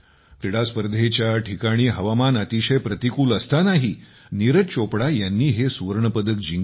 क्रीडा स्पर्धेच्या ठिकाणी हवामान अतिशय प्रतिकूल असतानाही नीरज चोपडा यांनी हे सुवर्णपदक जिंकले